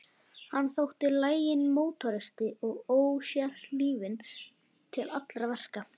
Hann þótti laginn mótoristi og ósérhlífinn til allra verka.